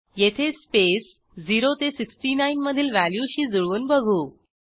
येथे स्पेस 0 ते 69 मधील व्हॅल्यूशी जुळवून बघू